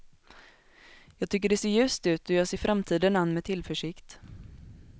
Jag tycker det ser ljust ut och jag ser framtiden an med tillförsikt.